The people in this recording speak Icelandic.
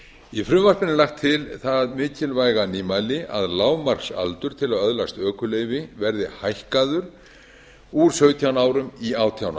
í frumvarpinu er lagt til það mikilvæga nýmæli að lágmarksaldur til að öðlast ökuleyfi verði hækkaður úr sautján árum í átján